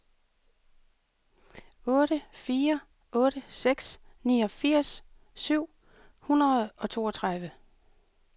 otte fire otte seks niogfirs syv hundrede og toogtredive